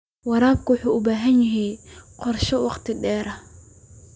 Waraabka waxa uu u baahan yahay qorshe wakhti dheer ah.